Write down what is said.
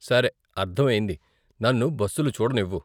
సరే, అర్ధమయ్యింది, నన్ను బస్సులు చూడనివ్వు.